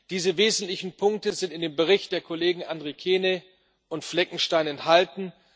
Diese wesentlichen Punkte sind in dem Bericht der Kollegen Andrikienė und Fleckenstein enthalten.